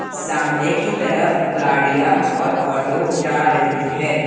सामने की तरफ गाड़ियाँ और ऑटो जा रही है।